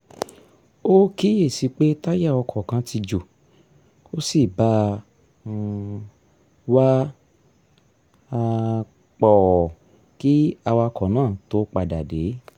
o kiyesi pe taya ọkọ kan ti jo, o si ba um wá um pọ ki awakọ naa to pada de